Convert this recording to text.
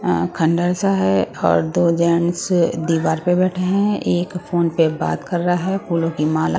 अं खंडर सा है और दो जेंट्स दीवार पे बैठे हैं एक फोन पर बात कर रहा है फूलों की माला --